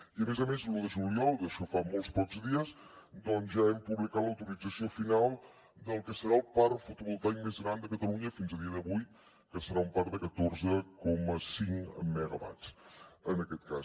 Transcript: i a més a més l’un de juliol d’això fa molt pocs dies doncs ja hem publicat l’autorització final del que serà el parc fotovoltaic més gran de catalunya fins a dia d’avui que serà un parc de catorze coma cinc megawatts en aquest cas